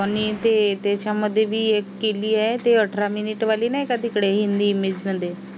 त्याने ते त्याच्यामध्ये पण एक केली आहे ते अठरा minute वाली नाही आहे का तिकडे हिंदी मध्ये